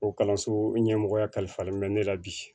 O kalanso ɲɛmɔgɔya kalifalen bɛ ne la bi